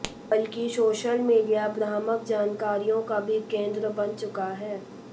बल्कि social media भ्रामक जानकारियों का भी केंद्र बन चुका है